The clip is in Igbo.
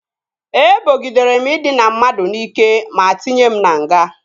Ebogidere m ịdịna mmadụ n'ike ma tinye m na nga